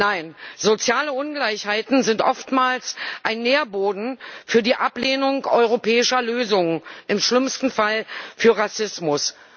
Nein, soziale Ungleichheiten sind oftmals ein Nährboden für die Ablehnung europäischer Lösungen, im schlimmsten Fall für Rassismus.